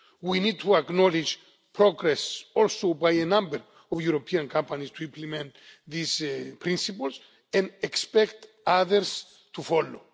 We need to acknowledge progress also by a number of European companies to implement these Principles, and expect others to follow.